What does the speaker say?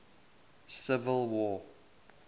civil war